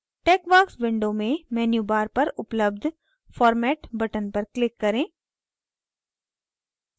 texworks window में menu bar पर उपलब्ध format button पर click करें